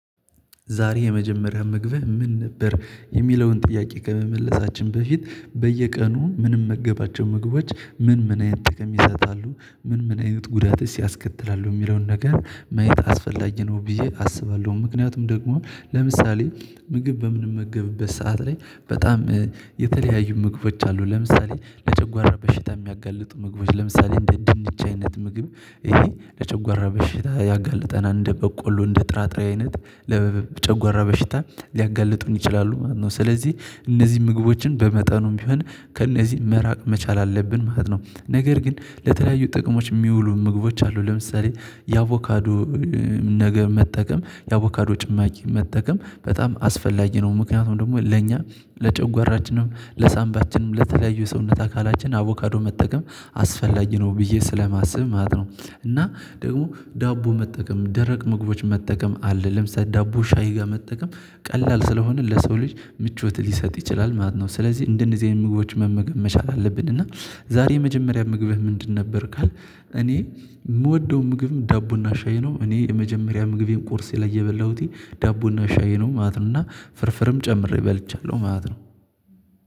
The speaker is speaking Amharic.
ዛሬ የመጀመሪያ ምግብህ ምን ነበር የሚለውን ጥያቄ ከመመለሳችን በፊት በየቀኑ ምንመገባቸው ምግቦች ምን ምን አይነት ጠቀሜታ እንዳለው ምን ምን አይነት ጉዳትስ ያስከትላሉ የሚለውን ነገር ማየት አስፈላጊ ነው ብዬ አስባለሁ። ምክንያቱም ደግሞ ለምሳሌ ምግብ በምንመገብበት ሰዓት ላይ በጣም የተለያዩ ምግቦች አሉ ለምሳሌ ለጨጓራ በሽታ የሚያጋልጡ ምግቦች ለምሳሌ እንደ ድንች አይነት ምግብ ይሄ ለጨጎራ በሽታ ያጋልጠናል። እንደ በቆሎ እንደ ጥራጥሬ አይነት ለጨጎራ በሽታ ሊያጋልጡን ይችላሉ ማለት ነው። ስለዚህ እነዚህ ምግቦችን በመጠኑም ቢሆን ከእነዚህ መራቅ መቻል አለብን ማለት ነው። ነገር ግን ለተለያዩ ጥቅሞች ሚውሉ ምግቦች አሉ። ለምሳሌ የአቮካዶ ነገር መጠቀም የአቮካዶ ጭማቂ መጠቀም በጣም አስፈላጊ ነው። ምክንያቱም ደግሞ ለኛ ለጨጓራችንም ለሳምባችንም ለተለያዩ የሰውነት አካላችን አቮካዶ መጠቀም አስፈላጊ ነው ብዬ ስለማስብ ማለት ነው። እና ደግሞ ዳቦ መጠቀም ደረቅ ምግቦች መጠቀም አለ ለምሳሌ ዳቦ ሻይ ጋር መጠቀም ቀላል ስለሆነ ለሰው ልጅ ምቾት ሊሰጥ ይችላል ማለት ነው። ስለዚህ እንደነዚህ አይነት ምግቦች መመገብ መቻል አለብን። እና ዛሬ የመጀመሪያ ምግብህ ምንድን ነበር ካል? እኔ የምወደው ምግብም ዳቦና ሻዬ ነው። እኔ የመጀመሪያ ምግቤን ቁርሴ ላይ የበላሁት ዳቦና ሻዬ ነው ማለት ነው። እና ፍርፍርም ጨምሬ በልቻለሁ ማለት ነው።